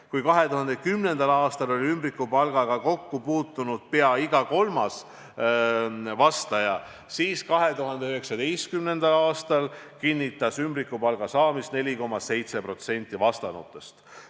Kui 2010. aastal oli ümbrikupalgaga kokku puutunud pea iga kolmas vastaja, siis 2019. aastal kinnitas ümbrikupalga saamist 4,7% vastanutest.